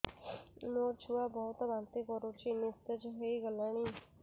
ମୋ ଛୁଆ ବହୁତ୍ ବାନ୍ତି କରୁଛି ନିସ୍ତେଜ ହେଇ ଗଲାନି